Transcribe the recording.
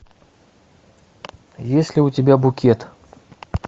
есть ли у тебя букет